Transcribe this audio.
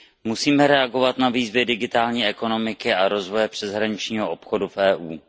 Musíme reagovat na výzvy digitální ekonomiky a rozvoje přeshraničního obchodu v EU.